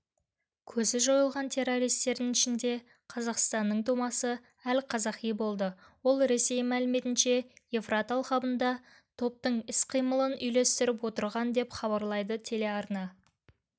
көзі жойылған террористердің ішінде қазақстанның тумасы әл-қазақи болды ол ресей мәліметінше евфрат алқабында топтың іс-қимылын үйлестіріп отырған деп хабарлайды телеарна